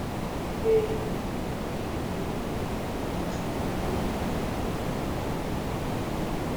wey wey she do wit nigerian star rema calm down remix